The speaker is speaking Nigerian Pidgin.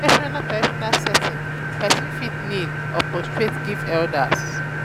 for traditional traditional setting person fit kneel um or prostrate give elders